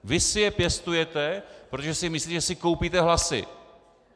Vy si je pěstujete, protože si myslíte, že si koupíte hlasy.